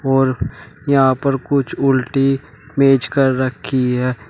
और यहां पर कुछ उल्टी मेज कर रखी है।